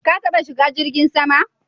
Ka taɓa shiga jirgin sama?